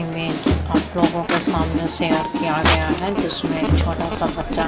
image आप लोगो को सामने शेयर किया गया है जिसमे एक छोटा सा बच्चा --